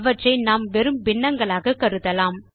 அவற்றை நாம் வெறும் பின்னங்களாக கருதலாம்